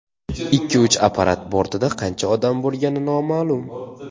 Ikki uchar apparat bortida qancha odam bo‘lgani noma’lum.